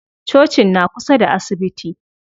Cocin na kusa da asibiti.